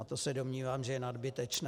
A to se domnívám, že je nadbytečné.